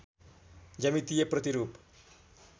ज्यामितीय प्रतिरूप